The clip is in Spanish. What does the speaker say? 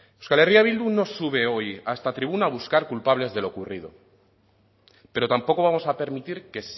euskal herria bildu no sube hoy a esta tribuna a buscar culpables de lo ocurrido pero tampoco vamos a permitir que